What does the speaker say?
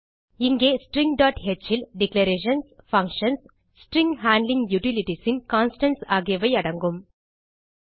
இங்கே stringஹ் ல் டிக்ளரேஷன்ஸ் பங்ஷன்ஸ் ஸ்ட்ரிங் ஹேண்ட்லிங் utilitiesன் கான்ஸ்டன்ட்ஸ் ஆகியவை அடங்கும்